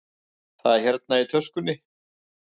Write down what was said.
Það er hérna í töskunni.